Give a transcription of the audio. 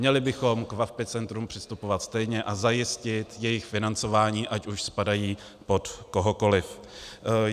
Měli bychom k VaVpI centrům přistupovat stejně a zajistit jejich financování, ať už spadají pod kohokoliv.